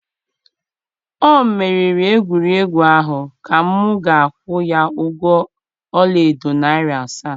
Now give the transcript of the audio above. o meriri egwuregwu ahụ ka m ga-akwụ ya ụgwọ ọla edo narị asaa.